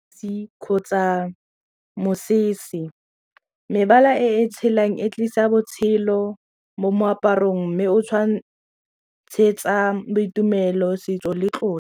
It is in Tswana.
kgotsa mosese. Mebala e tshelang e tlisa botshelo mo moaparong mme o tshwantshetsa boitumelo, setso le tlotlo.